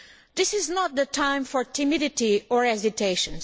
This is not the time for timidity or hesitation.